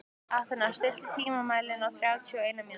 Athena, stilltu tímamælinn á þrjátíu og eina mínútur.